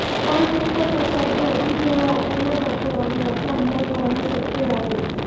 पण हे कसं शब्द अधिक वेळा वापरला जातो आहे याचा अंदाज लावणे सोपे आहे